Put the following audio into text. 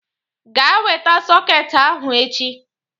Gaa weta sọket ahụ echi!